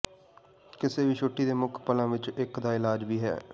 ਕਿਸੇ ਵੀ ਛੁੱਟੀ ਦੇ ਮੁੱਖ ਪਲਾਂ ਵਿੱਚੋਂ ਇੱਕ ਦਾ ਇਲਾਜ ਵੀ ਹੈ